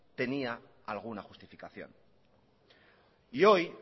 tenía alguna justificación y hoy